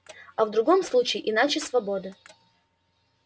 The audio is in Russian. а в другом случае иначе свобода